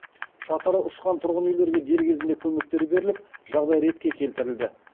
шатыры ұшқан тұрғын үйлерге дер кезінде көмектер беріліп жағдай ретке келтірілді